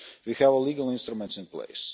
We have legal instruments in place.